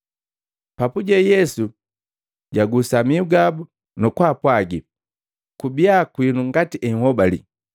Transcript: Papuje Yesu jagusa mihu gabu, nukupwaga, “Kubia kwinu ngati enhobali.”